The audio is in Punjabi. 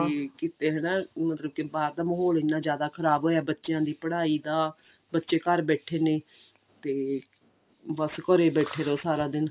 ਤੇ ਕੀਤੇ ਹਨਾ ਮਤਲਬ ਕੀ ਬਾਹਰ ਦਾ ਮਹੋਲ ਇੰਨਾ ਜ਼ਿਆਦਾ ਖਰਾਬ ਹੋਇਆ ਬੱਚਿਆਂ ਦੀ ਪੜਾਈ ਦਾ ਬੱਚੇ ਘਰ ਬੈਠੇ ਨੇ ਤੇ ਬੱਸ ਘਰੇ ਬੈਠੇ ਰਹੋ ਸਾਰਾ ਦਿਨ